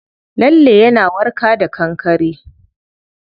Lalle yana warka da kankare.